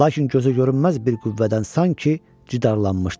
Lakin gözə görünməz bir qüvvədən sanki citarlaşmışdım.